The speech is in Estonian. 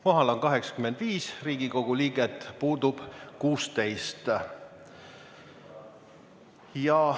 Kohal on 85 Riigikogu liiget, puudub 16.